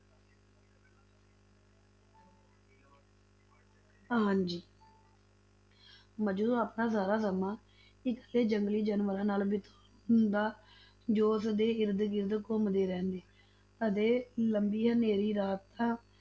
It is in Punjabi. ਹਾਂਜੀ ਮਜਨੂੰ ਆਪਣਾ ਸਾਰਾ ਸਮਾਂ ਇਕੱਲੇ ਜੰਗਲੀ ਜਾਨਵਰ ਨਾਲ ਬਿਤਾਉਂਦਾ, ਜੋ ਉਸਦੇ ਇਰਦ ਗਿਰਦ ਘੁੰਮਦੇ ਰਹਿੰਦੇ ਅਤੇ ਲੰਬੀ ਹਨੇਰੀ ਰਾਤਾਂ